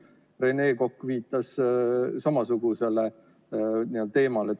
Rene Kokk viitas samasugusele teemale.